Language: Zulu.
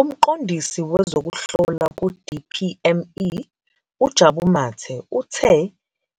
UMqondisi Wezokuhlola ku-DPME, uJabu Mathe, uthe